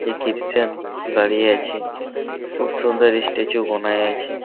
এ ক্রিস্টেন দাঁড়িয়ে আছে খুব সুন্দর স্ট্যাচু বানায় আছে।